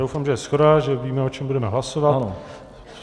Doufám, že je shoda, že víme, o čem budeme hlasovat.